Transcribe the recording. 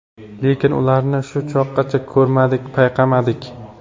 Lekin ularni shu chog‘gacha ko‘rmadik, payqamadik.